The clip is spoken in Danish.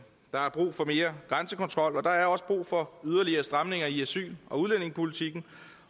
der er brug for mere grænsekontrol og der er også brug for yderligere stramninger i asyl og udlændingepolitikken